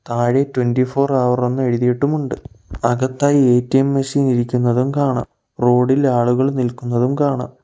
താഴെ twenty four hour എന്ന് എഴുതിയിട്ടുമുണ്ട് അകത്തായി എ_ടി_എം മെഷീൻ ഇരിക്കുന്നതും കാണാം റോഡ് ഇൽ ആളുകൾ നിൽക്കുന്നതും കാണാം.